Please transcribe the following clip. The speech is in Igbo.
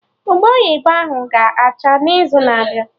Ube oyibo ahụ ga acha n'izu na-abịa